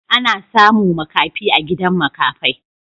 Ana samu makafai a gidan makafai.